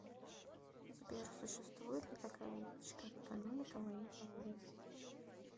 сбер существует ли такая вещь как экономика военного времени